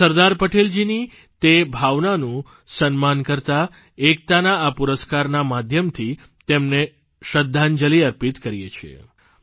સરદાર પટેલજીની તે ભાવનાનું સન્માન કરતા એકતાના આ પુરસ્કારના માધ્યમથી તેમને શ્રદ્ધાંજલિ અર્પિત કરીએ છીએ